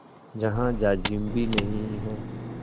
जहाँ जाजिम भी नहीं है